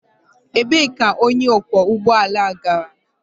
Ebee ka onye ọkwọ ụgbọ ala gara?